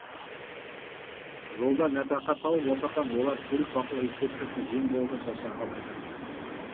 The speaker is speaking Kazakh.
жолдан нәпақа тауып отырған олар көлік бақылау инспекциясына жем болудан шаршағанын айтады